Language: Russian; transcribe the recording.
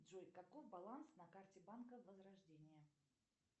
джой каков баланс на карте банка возрождение